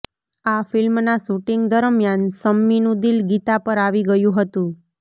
આ ફિલ્મના શુટિંગ દરમ્યાન શમ્મીનું દિલ ગીતા પર આવી ગયું હતું